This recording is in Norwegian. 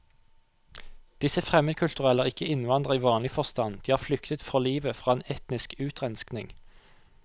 Disse fremmedkulturelle er ikke innvandrere i vanlig forstand, de har flyktet for livet fra en etnisk utrenskning.